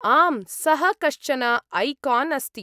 आम्, सः कश्चन ऐकान् अस्ति।